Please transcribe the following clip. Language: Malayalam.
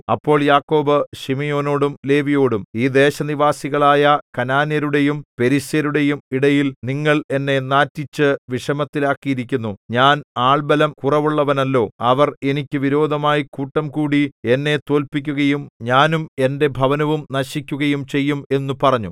അപ്പോൾ യാക്കോബ് ശിമെയോനോടും ലേവിയോടും ഈ ദേശനിവാസികളായ കനാന്യരുടെയും പെരിസ്യരുടെയും ഇടയിൽ നിങ്ങൾ എന്നെ നാറ്റിച്ചു വിഷമത്തിലാക്കിയിരിക്കുന്നു ഞാൻ ആൾബലം കുറവുള്ളവനല്ലോ അവർ എനിക്ക് വിരോധമായി കൂട്ടംകൂടി എന്നെ തോല്പിക്കുകയും ഞാനും എന്റെ ഭവനവും നശിക്കുകയും ചെയ്യും എന്നു പറഞ്ഞു